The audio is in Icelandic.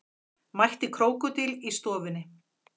Mætti krókódíl í stofunni